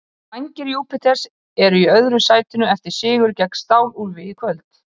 Vængir Júpiters eru í öðru sætinu eftir sigur gegn Stál-úlfi í kvöld.